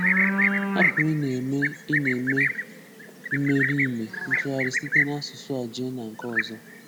hapụ ị na-eme ị na-eme imeriime ntụgharị site n'asụsụ a jee na nke ọzọ.